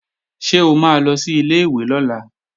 Ṣé o máa lọ sí ilé-ìwé lọ́la?